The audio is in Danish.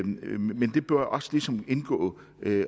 men det bør også ligesom indgå